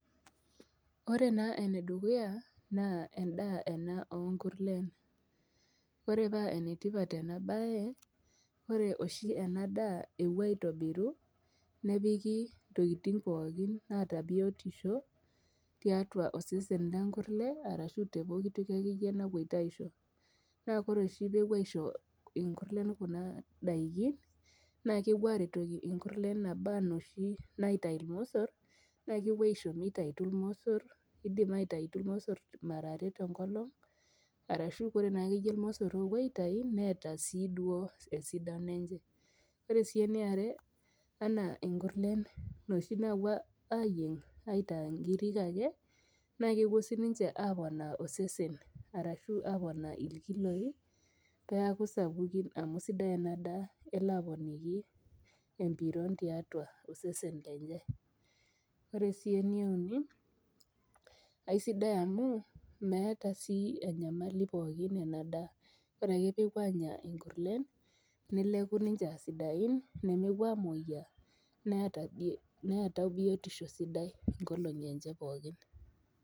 Ore naa ene dukuya naa endaa ena oo nkurlen. Ore paa ene tipat ena baye, ore oshi ena daa epuoi aitobiru nepiki ntokitin pookin naata biotisho tiatua osesen lenkurlee arashu te poki toki akeyie napuito aisho, naa kore oshi peepuo aisho inkurleen kuna daikin naa kepuo aaretoki nkurleen naba noshi naitayu irmosor naa kepuo aisho mitayutu irmosor, iidim aitayutu irmosor mara are te nkolong' arashu kore naake yie irmosor oopuo aitayu neeta sii duo esidano enche. Ore sii eni are enaa inkurleen inoshi naapuo aayieng' iataa nkirik ake, naake epuo sininche aaponaa osesen arashu aponaa irkiloi neeku sapukin amu sidai ena daa elo aponiki embiron tiatua osesen lenye. Ore sii ene uni naa isidai amu meeta sii enyamali pookin ena daa ore ake peepuo aanya inkurleen neleku ninche aa sidain nemepuo aamuoyia neeta neetai biotisho sidai nkolong'i enche pookin.